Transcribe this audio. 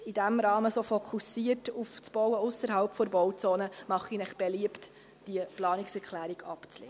In diesem Rahmen, fokussiert auf das Bauen ausserhalb der Bauzone, mache ich beliebt, diese Planungserklärung abzulehnen.